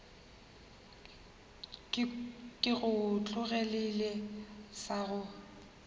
ke go tlogelele sa go